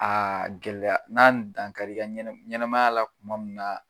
Aa gɛlɛya n'a ye dan kari i ka ɲɛnamaya la kuma mun na